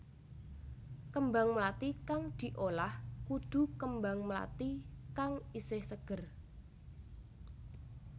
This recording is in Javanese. Kembang mlathi kang diolah kudu kembang mlathi kang isih seger